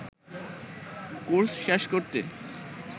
course শেষ করতে